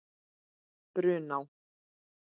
Brunná